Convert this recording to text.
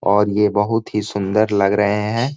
और यह बहुत ही सुंदर लग रहे है।